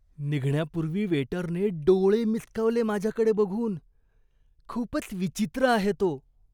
निघण्यापूर्वी वेटरने डोळे मिचकावले माझ्याकडे बघून. खूपच विचित्र आहे तो.